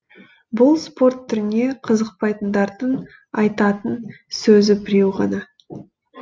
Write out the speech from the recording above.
бұл спорт түріне қызықпайтындардың айтатын сөзі біреу ғана